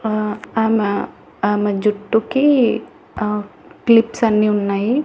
ఆ అలా ఆమె జుట్టుకి ఆ క్లిప్స్ అన్నీ ఉన్నాయి.